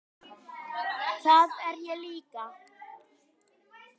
Það er ég líka